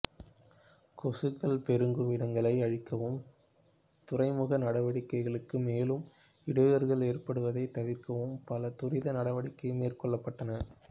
கொசுக்கள் பெருகும் இடங்களை அழிக்கவும் துறைமுக நடவடிக்கைகளுக்கு மேலும் இடையூறுகள் ஏற்படுவதைத் தவிர்க்கவும் பல துரித நடவடிக்கைகள் மேற்கொள்ளப்பட்டன